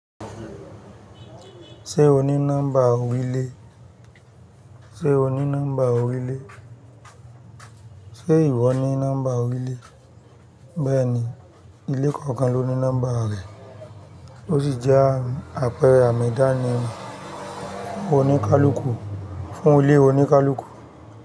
Ṣé o ní nọ́mbà orílé? Ṣé o ní nọ́mbà orílé? Ṣé ìwọ ní nọ́mbà orílẹ̀? Bẹ́ẹ̀ ni, ilé kọ̀ọ̀kan ló ní nọ́mbà rẹ̀, ó sì jẹ́ àpẹẹrẹ àmì ìdánimọ̀ oníkálùkù, fún ilé oníkálùkù.